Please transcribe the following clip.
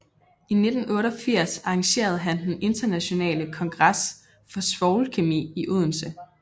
I 1988 arrangerede han den internationale kongres for svovlkemi i Odense